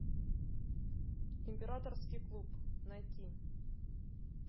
императорский клуб найти